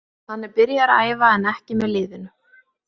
Hann er byrjaður að æfa en ekki með liðinu.